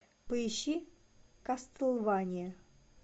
поищи кастлвания